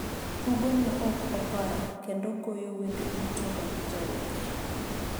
tugo ma ok opar kendo goyo wende duto mag jawer